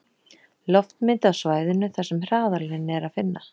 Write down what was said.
Loftmynd af svæðinu þar sem hraðalinn er að finna.